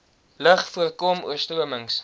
lug voorkom oorstromings